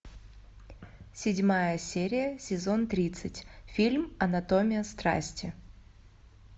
седьмая серия сезон тридцать фильм анатомия страсти